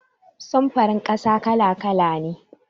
Sufurin ƙasa kala-kala ne.